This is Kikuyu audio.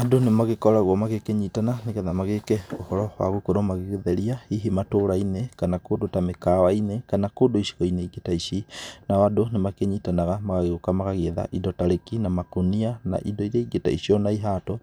Andũ nĩ magĩkoragwo magĩkĩnyitana nĩgetha magĩke ũhoro wa gũgĩkorewo magĩtheria hihi matũra-inĩ kana kũndũ ta mĩkawa-inĩ kana kũndũ icigo-inĩ ingĩ ta ici. Nao andũ nĩ makĩnyitanaga magagĩũka magagĩetha indo ta réki na makonia na indo iria ingĩ ta icio na ihato.